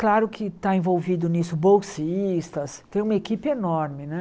Claro que está envolvido nisso bolsistas, tem uma equipe enorme né.